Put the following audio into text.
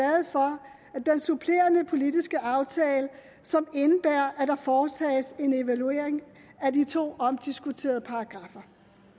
og den supplerende politiske aftale som indebærer at der foretages en evaluering af de to omdiskuterede paragraffer